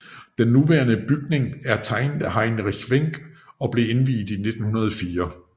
Den nuværende bygning er tegnet af Heinrich Wenck og blev indviet i 1904